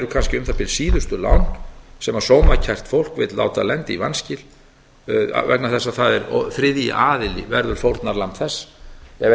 kannski um það bil síðustu lánin sem sómakært fólk vill láta lenda í vanskilum út af vegna þess að þriðji aðili verður fórnarlamb þess ef ekki